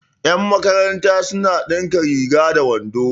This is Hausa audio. yanmakaranta suna dinka riga da wando